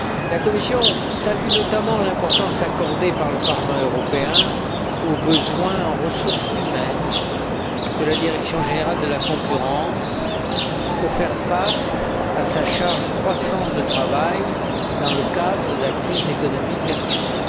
La Commission salue notamment l'importance accordée par le Parlement européen aux besoins en ressources humaines de la Direction générale de la concurrence pour faire face à sa charge croissante de travail dans le cadre de la crise économique actuelle.